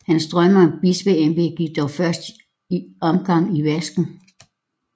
Hans drømme om et bispeembede gik dog i første omgang i vasken